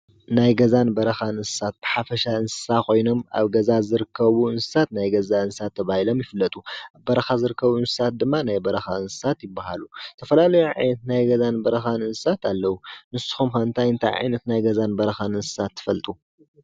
ናይ ገዛን ናይበራኻን እንስሳት ኩሎም እንስሳት ኮይኖም ምስ ዝነብሩ ናይ ገዛ, ኣብ እፅዋት ዝነብሩ ከዓ ናይ በረኻ ይበሃሉ። ኣብነት ጥቀሱ?